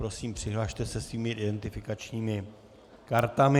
Prosím, přihlaste se svými identifikačními kartami.